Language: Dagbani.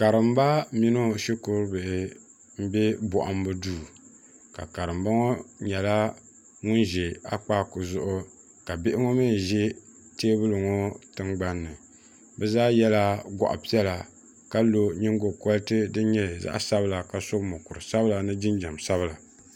Karimba mini o shikuru bihi m-be bɔhimbu duu ka karimba ŋɔ nyɛla ŋun ʒi Akpaaku zuɣu ka bihi ŋɔ mi ʒi teebuli ŋɔ tiŋgbani ni bɛ zaa yela gɔɣ' piɛla ka lɔ nyingo kuriti din nyɛ zaɣ' sabila ni jinjam sabila.